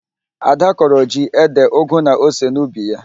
Ada kọrọ ji, ede, ụgụ na ose n'ubi ya.